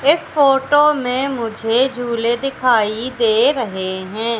इस फोटो में मुझे झूले दिखाई दे रहे हैं।